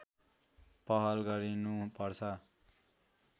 पहल गरिनुपर्छ